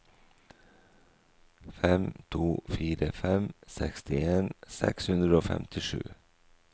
fem to fire fem sekstien seks hundre og femtisju